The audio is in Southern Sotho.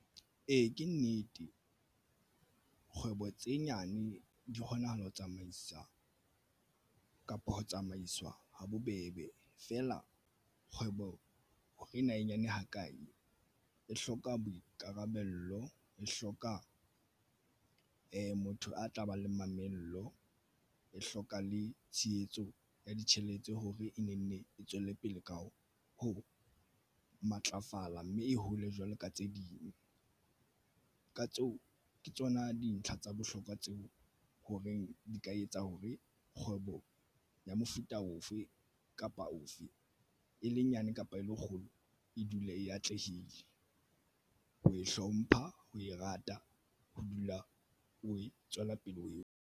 Ee, ke nnete kgwebo tse nyane di kgonahale ho tsamaisa kapa ho tsamaiswa habobebe feela kgwebo ena e nyane hakae. E hloka boikarabelo e hloka motho ya tlabang le mamello e hloka le tshehetso ya ditjhelete hore e ne nne e tswele pele ka ho matlafala mme e hole jwalo ka tse ding. Ka tseo ke tsona dintlha tsa bohlokwa tseo ho reng di ka etsa hore kgwebo ya mofuta ofe kapa ofe e le nyane kapa e le kgolo e dule e atlehile ho e hlompha ho e rata ho dula o e tswela pele o eo.